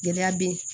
Gɛlɛya be yen